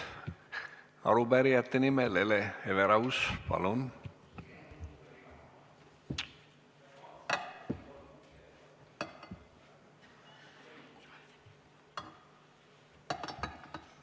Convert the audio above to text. Arupärijate nimel Hele Everaus, palun!